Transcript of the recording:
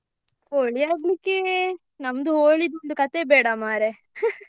Holi ಆಡ್ಲಿಕ್ಕೆ ನಮ್ದು Holi ದು ಒಂದು ಕಥೆ ಬೇಡ ಮರ್ರೆ .